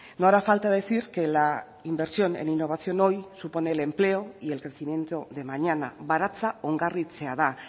no hará falta decir que la inversión en innovación hoy supone el empleo y el crecimiento de mañana baratza ongarritzea da